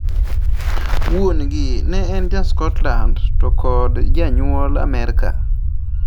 Wuon gi ne en ja Scotland to kod janyuol Amerka